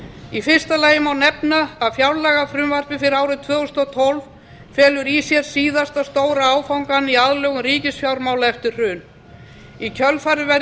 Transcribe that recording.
í fyrsta lagi má nefna að fjárlagafrumvarp fyrir árið tvö þúsund og tólf felur í sér síðasta stóra áfangann í aðlögun ríkisfjármála eftir hrun í kjölfarið verður